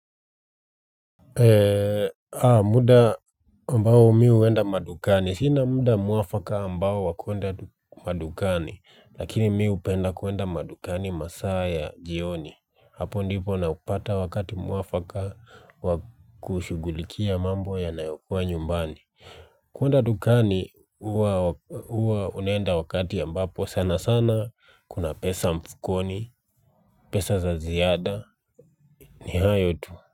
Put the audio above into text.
Muda ambao mi huenda madukani sina muda mwafaka ambao wa kuenda madukani lakini mi hupenda kuenda madukani masaa ya jioni hapo ndipo napata wakati mwafaka wa kushughulikia mambo yanayokuwa nyumbani kuenda dukani huwa huwa unaenda wakati ambapo sana sana kuna pesa mfukoni pesa za ziada ni hayo tu.